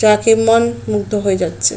যাকে মন মুগ্ধ হয়ে যাচ্ছে।